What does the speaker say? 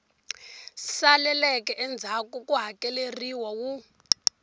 saleleke endzhaku ku hakeleriwa wu